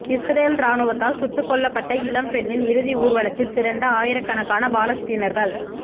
Israel ராணுவத்தால் சுட்டுக் கொல்லப்பட்ட இளம்பெண்ணின் இறுதி ஊர்வலத்தில் திரண்ட ஆயிரக்கணக்கான பாலஸ்தீனர்கள்